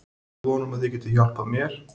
Með von um að þið getið hjálpað mér.